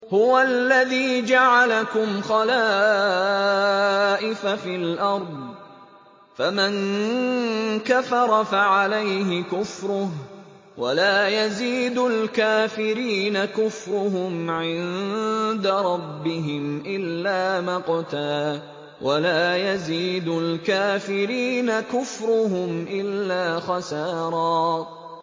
هُوَ الَّذِي جَعَلَكُمْ خَلَائِفَ فِي الْأَرْضِ ۚ فَمَن كَفَرَ فَعَلَيْهِ كُفْرُهُ ۖ وَلَا يَزِيدُ الْكَافِرِينَ كُفْرُهُمْ عِندَ رَبِّهِمْ إِلَّا مَقْتًا ۖ وَلَا يَزِيدُ الْكَافِرِينَ كُفْرُهُمْ إِلَّا خَسَارًا